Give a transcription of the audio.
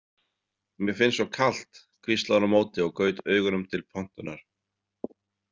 Mér finnst svo kalt, hvíslaði hún á móti og gaut augunum til pontunnar.